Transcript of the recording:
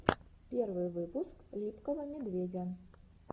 первый выпуск липкого медведя